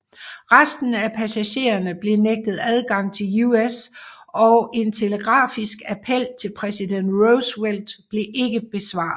Resten af passagererne blev nægtet adgang til US og en telegrafisk appel til præsident Roosevelt blev ikke besvaret